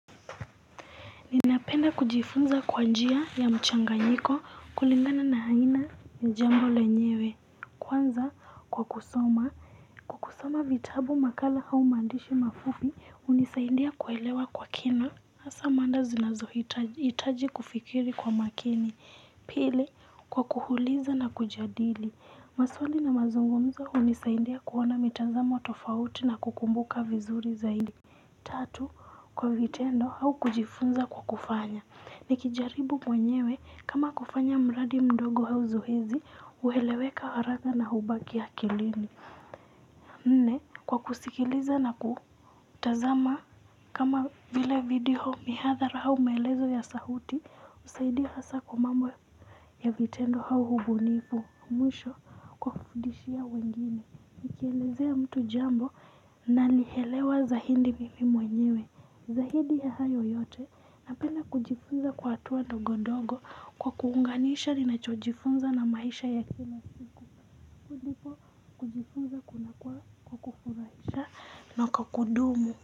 Ninapenda kujifunza kwa njia ya mchanganyiko kulingana na aina ni jambo lenyewe kwanza kwa kusoma. Kusoma vitabu makala au maandishi mafupi hunisaidia kuelewa kwa kina hasa mada zinazohitaji kufikiri kwa makini pili kwa kuhuliza na kujadili maswali na mazungumzo hunisaindia kuona mitazamo tofauti na kukumbuka vizuri zaidi. Tatu kwa vitendo au kujifunza kwa kufanya. Nikijaribu mwenyewe kama kufanya mradi mdogo au zoezi hueleweka haraka na hubaki ya akilini nne kwa kusikiliza na kutazama kama vile video mihadhara au maelezo ya sauti husaidia hasa kwa mambo ya vitendo au ubunifu mwisho kwa kufudishia wengine. Nikielezea mtu jambo nalielewa zaidi mimi mwenyewe zaidi ya hayo yote napenda kujifunza kwa hatua ndogodogo kwa kuunganisha ninachojifunza na maisha ya kila siku, hivyo ndivyo kujifunza kunakuwa kwa kufurahisha na kwa kudumu.